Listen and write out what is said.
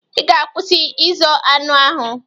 I ga-akwụsị ịzọ anị ahụ!